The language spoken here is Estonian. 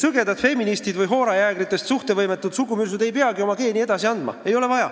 Sõgedad feministid või hoorajäägritest suhtevõimetud sugumürsud ei peagi oma geene edasi andma.